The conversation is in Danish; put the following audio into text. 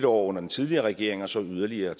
år under den tidligere regering og så yderligere